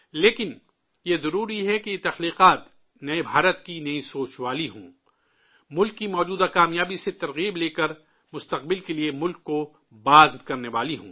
لیکن، یہ ضروری ہے کہ یہ تخلیقات نئے بھارت کی نئی سوچ والی ہوں، ملک کی موجودہ کامیابی سے تاثر لے کر مستقبل کے لیے ملک کو عزم فراہم کرنے والی ہوں